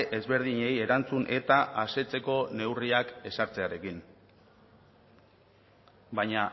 ezberdinei erantzun eta asetzeko neurriak ezartzearekin baina